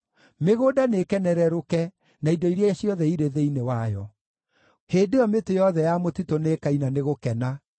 mĩgũnda nĩĩkenerũrũke, na indo iria ciothe irĩ thĩinĩ wayo. Hĩndĩ ĩyo mĩtĩ yothe ya mũtitũ nĩĩkaina nĩ gũkena;